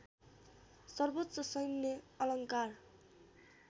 सर्वोच्च सैन्य अलङ्कार